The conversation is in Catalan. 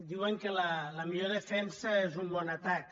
diuen que la millor defensa és un bon atac